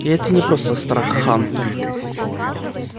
и это не просто страх хантер